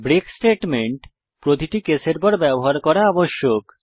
break statement প্রতিটি কেসের পর ব্যবহার করা আবশ্যক